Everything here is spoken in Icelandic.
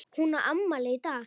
Hún á afmæli í dag.